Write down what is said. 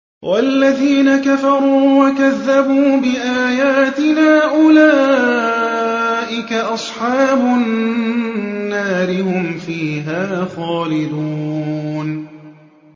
وَالَّذِينَ كَفَرُوا وَكَذَّبُوا بِآيَاتِنَا أُولَٰئِكَ أَصْحَابُ النَّارِ ۖ هُمْ فِيهَا خَالِدُونَ